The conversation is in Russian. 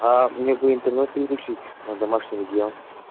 аа мне бы интернет переключить на домашний регион